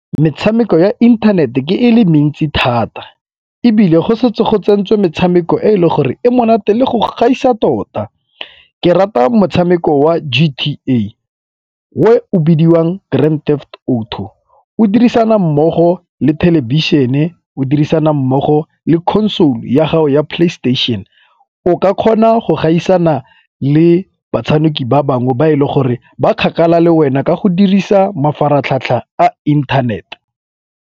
Metshameko ya inthanete ke e le mentsi thata ebile go setse go tsentswe metshameko e e leng gore e monate le go gaisa tota. Ke rata motshameko wa G_T_A o e o bidiwang Grand Theft Auto. O dirisana mmogo le thelebišene, o dirisana mmogo le console-u ya gago ya playstation. O ka kgona go gaisana le batshameki ba bangwe ba e le gore ba kgakala le wena ka go dirisa mafaratlhatlha a internet.